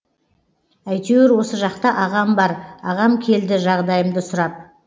әйтеуір осы жақта ағам бар ағам келді жағдайымды сұрап